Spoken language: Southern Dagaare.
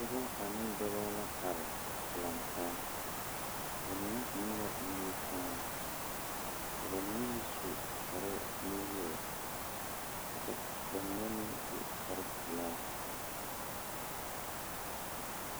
Pɔgeba ane dɔbɔ la are lantaa, bamine eŋɛ la nimikyaane ka bamine su kparenuwoore kyɛ ka bamine meŋ su kparepelaa